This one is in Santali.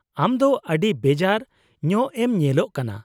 -ᱟᱢ ᱫᱚ ᱟᱹᱰᱤ ᱵᱮᱡᱟᱨ ᱧᱚᱜᱼᱮᱢ ᱧᱮᱞᱚᱜ ᱠᱟᱱᱟ ᱾